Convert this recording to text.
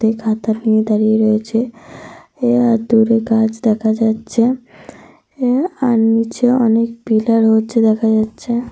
ফেমে দাঁড়িয়ে রয়েছে। আর দূরে গাছ দেখা যাচ্ছে। আর নিচে অনেক পিলার রয়েছে দেখা যাচ্ছে।